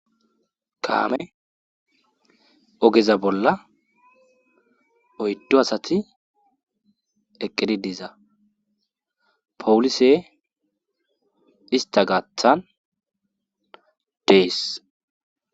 kaame ogeza bolla oyddo asati eqqidi diza powulise ista gaathan deess